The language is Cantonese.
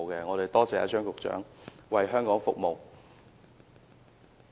我感謝張局長為香港服務。